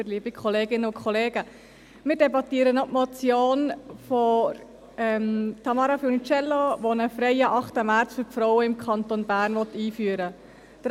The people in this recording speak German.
Wir debattieren noch die Motion von Tamara Funiciello, die einen freien 8. März für die Frauen im Kanton Bern einführen will.